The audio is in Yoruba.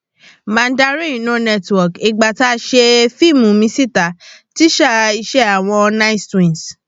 mandarin no network ìgbà tá a ṣe fíìmù míṣítà tíṣà iṣẹ àwọn nice twins